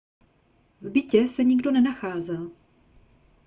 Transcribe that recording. v bytě se nikdo nenacházel